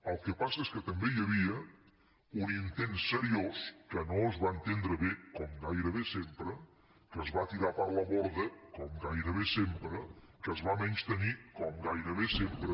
el que passa és que també hi havia un intent seriós que no es va entendre bé com gairebé sempre que es va tirar per la borda com gairebé sempre que es va menystenir com gairebé sempre